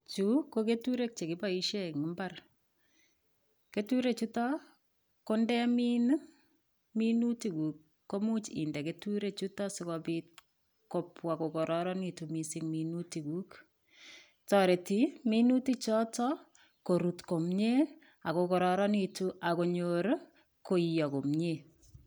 Chu ko keturek chekiboishe eng' mbar keturechuto ko ndemin minutikuk komuuch inde keturechuto sikobit kobwa kokororonitu mising' minutikuk toreti minutichoto korut komye akokororonitu akonyor koiyo komyee